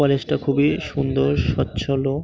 College -টা খুবই সুন্দর। স্বচ্ছল ও --